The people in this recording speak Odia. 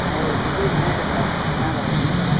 ହଏ ସୁର୍ଯ୍ୟ ବି ବଢିଆ ଖେଲିଥିଲା, କାଣ କର୍ ବ ନି ହେଇ ପାର୍ ଲା।